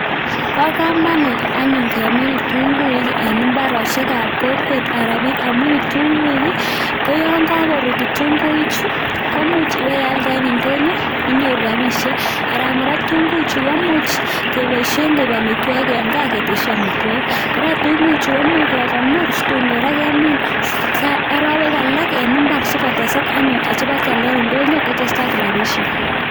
Bo komonut anyun kemiin kitunguuik, en imbarosiek ab kokwet Alan ko biik, amun kitunguiik ko yon kakorut kitunguichu komuch ibealdee en indonyoo. Inyooru rabisiek, ak kora kitunguichu komuch keboishien koik amitwogiik en gaa ketisyii amitwogiik. Kora kitunguichu komuch kekonoor situn kora kemin en arawek alak en imbaar sikotesak anyun chebokioldoo en indonyoo akotesak rabishek.